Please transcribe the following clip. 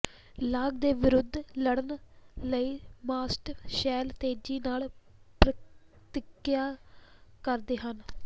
ਲਾਗ ਦੇ ਵਿਰੁੱਧ ਲੜਨ ਲਈ ਮਾਸਟ ਸੈੱਲ ਤੇਜ਼ੀ ਨਾਲ ਪ੍ਰਤੀਕ੍ਰਿਆ ਕਰਦੇ ਹਨ